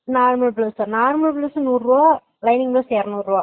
normal dress சா, normal dress நூறுவா lining dress இரநூருவா